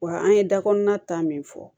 Wa an ye da kɔnɔna ta min fɔ